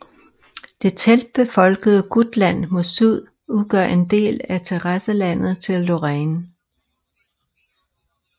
Det tætbefolkede Gutland mod syd udgør en del af terrasselandet til Lorraine